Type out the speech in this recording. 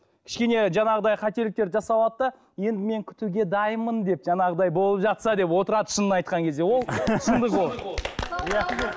кішкене жаңағыдай қателіктер жасап алады да енді мен күтуге дайынмын деп жаңағыдай болып жатса деп отырады шынын айтқан кезде ол шындық ол